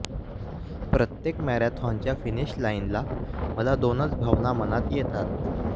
प्रत्येक मॅरेथॉनच्या फिनिश लाईनला मला दोनच भावना मनात येतात